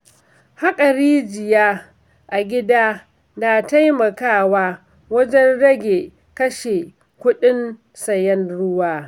Haƙa rijiya a gida na taimakawa wajen rage kashe kuɗin sayen ruwa.